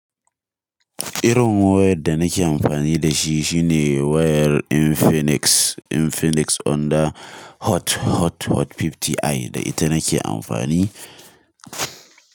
Irin wayad da nake amfani da shi shine wayar Infinix, Infinix Honda Hot, Hot, Hot 50i da ita nake amfani.